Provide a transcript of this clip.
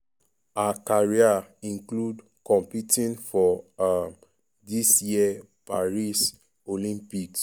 her career include competing for um dis year paris olympics.